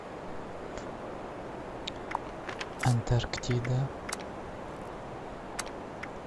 антарктида